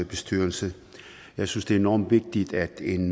bestyrelse jeg synes det er enormt vigtigt at en